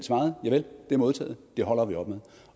javel det er modtaget det holder vi op med